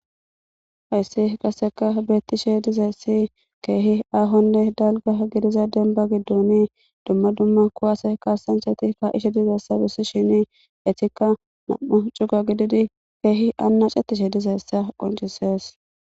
Hayssi qaseka beettishe dizayssi keehi aahonne dalga gidiza denba gidoni dumma dumma kuwase kaasancheti ka ishe dizeessa bussi shini etikka mam7u cuga gididi keehi anna cettishe dizeyssa qonchisees.